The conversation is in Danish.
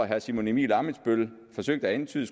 herre simon emil ammitzbøll forsøgte at antyde